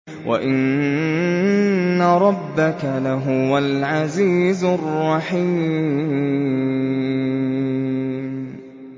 وَإِنَّ رَبَّكَ لَهُوَ الْعَزِيزُ الرَّحِيمُ